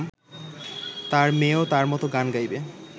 তাঁর মেয়েও তাঁর মত গান গাইবে